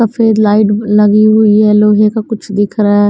सफेद लाइट लगी हुई है लोहे का कुछ दिख रहा है।